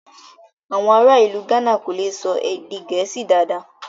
Awọn ará ilù Gána kò lè sọ èdè Gẹẹsi dádá